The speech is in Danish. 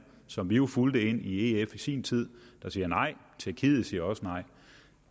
som vi jo fulgte ind i ef i sin tid der siger nej tjekkiet siger også nej